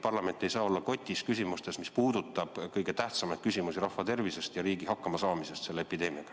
Parlament ei saa olla kotis, mis puudutavad kõige tähtsamaid küsimusi, nagu rahvatervis ja riigi hakkamasaamine epideemiaga.